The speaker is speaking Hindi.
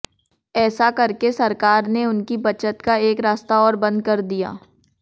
ऐसा करके सरकार ने उनकी बचत का एक रास्ता और बंद कर दिया